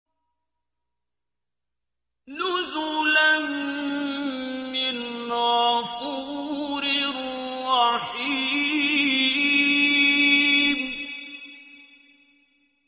نُزُلًا مِّنْ غَفُورٍ رَّحِيمٍ